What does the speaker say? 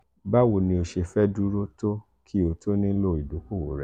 bawo ni o ṣe fẹ duro to ki o to nilo idokowo rẹ.